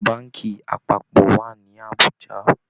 Báànkì apápọ̀ wà ní Àbújá